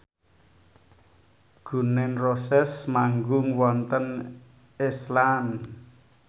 Gun n Roses manggung wonten Iceland